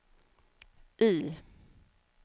I